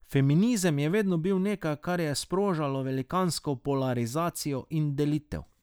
Feminizem je vedno bil nekaj, kar je sprožalo velikansko polarizacijo in delitev.